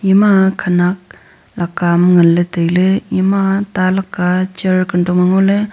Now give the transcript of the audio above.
ema khanak lakaam nganley tailey ema ta laka ae chair kantong ma ngo ley.